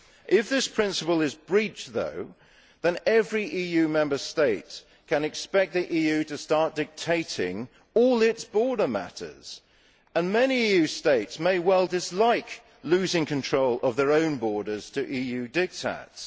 If this principle is breached, however, every EU Member State can expect the EU to start dictating all its border matters, and many EU Member States may well dislike losing control of their own borders to EU diktats.